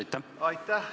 Aitäh!